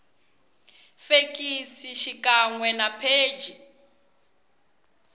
fekisi xikan we na pheji